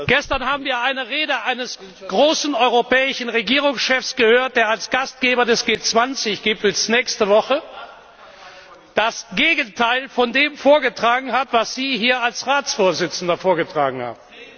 Gestern haben wir die Rede eines großen europäischen Regierungschefs gehört, der als Gastgeber des G20 Gipfels nächste Woche das Gegenteil von dem vorgetragen hat, was Sie hier als Ratsvorsitzender vorgetragen haben.